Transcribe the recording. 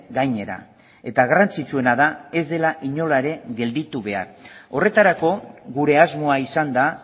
gainera eta garrantzitsuena da ez dela inola ere gelditu behar horretarako gure asmoa izan da